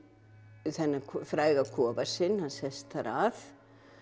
þennan fræga kofa sinn hann sest þar að